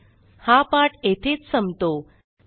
spoken tutorialorgnmeict intro हा पाठ येथेच संपतो